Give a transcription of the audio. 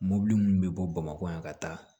Mɔbili minnu bi bɔ bamakɔ yan ka taa